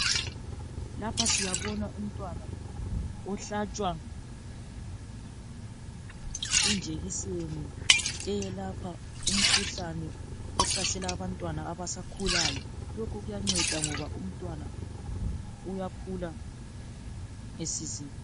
Lapha siyabona umntwana, ohlatshwa injekiseni eyelapha umkhuhlane ohlasela abantwana abasakhulayo. Lokhu kuyanceda ngoba umntwana , uyakhula esizekile.